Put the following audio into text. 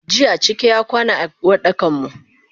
Jiya cike y akwana a Uwardakanmu.